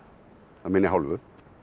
af minni hálfu